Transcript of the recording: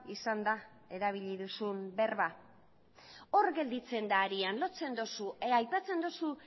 izan da erabili duzun berba hor gelditzen da arian lotzen duzu aipatzen duzu